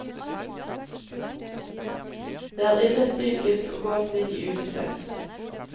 Det er ille psykisk å gå slik i uvisshet.